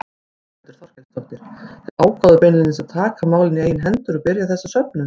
Þórhildur Þorkelsdóttir: Þið ákváðuð beinlínis að taka málin í eigin hendur og byrja þessa söfnun?